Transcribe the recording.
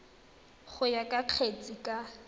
go ya ka kgetse ka